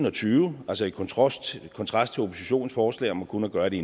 og tyve altså i kontrast kontrast til oppositionens forslag om kun at gøre det